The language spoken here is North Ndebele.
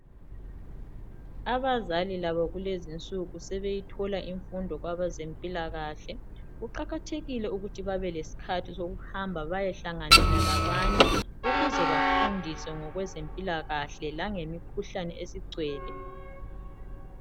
Abazali labo kulezinsuku, sebeyithola infundo kwabezempilakahle. Kuqakathekile ukuthi babe lesikhathi sokuhamba bayehlanganela labanye ukuze bafundiswe ngokwezempilakahle langemikhuhlane esigcwele.